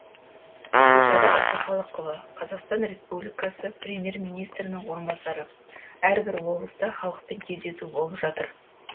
гүлшара әбдіқалықова қазақстан республикасы премьер министрінің орынбасары әрбір облыста халықпен кездесу болып жатыр